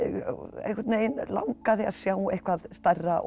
einhvern veginn langaði að sjá eitthvað stærra og